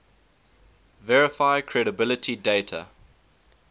verify credibility dater